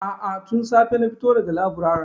A'a, tun safe na fito da ga laburaren.